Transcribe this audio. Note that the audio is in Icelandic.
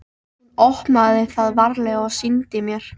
Hún opnaði það varlega og sýndi mér.